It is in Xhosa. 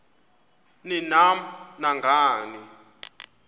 ni nam nangani